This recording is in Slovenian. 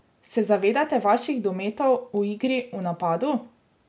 Se zavedate vaših dometov v igri v napadu?